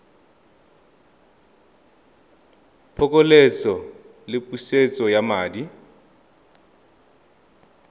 phokoletso le pusetso ya madi